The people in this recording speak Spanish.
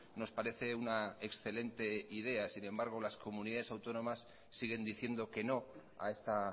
nos parece una excelente idea sin embargo las comunidades autónomas siguen diciendo que no a esta